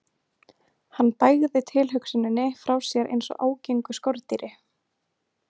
Hann bægði tilhugsuninni frá sér eins og ágengu skordýri.